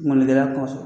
Mɔnikɛla kɔsɔn